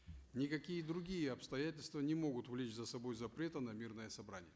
никакие другие обстоятельства не могут влечь за собой запреты на мирное собрание